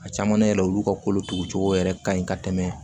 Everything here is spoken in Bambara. A caman na yɛrɛ olu ka kolotugu cogo yɛrɛ ka ɲi ka tɛmɛ